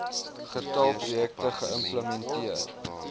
getal projekte geïmplementeer